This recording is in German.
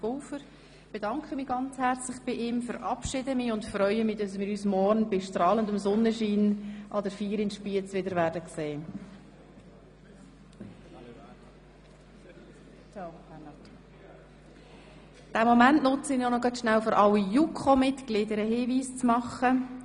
Ich bedanke mich ganz herzlich beim Regierungspräsidenten, Bernhard Pulver, verabschiede ihn und freue mich, ihn morgen an der Feier in Spiez bei strahlendem Sonnenschein wiederzusehen.